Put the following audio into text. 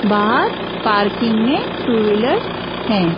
बाहर पार्किंग में two wheelers हैं।